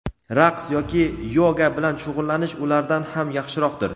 raqs yoki yoga bilan shug‘ullanish ulardan ham yaxshiroqdir.